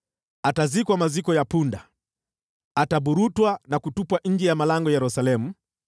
Atazikwa maziko ya punda: ataburutwa na kutupwa nje ya malango ya Yerusalemu.”